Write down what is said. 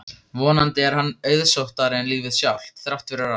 Vonandi er hann auðsóttari en lífið sjálft, þrátt fyrir allt.